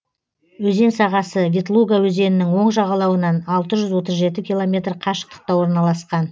өзен сағасы ветлуга өзенінің оң жағалауынан алты жүз отыз жеті километр қашықтықта орналасқан